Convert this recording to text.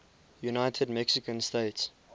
united mexican states